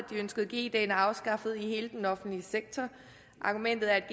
ønskede g dagene afskaffet i hele den offentlige sektor argumentet er